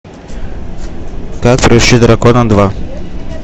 как приручить дракона два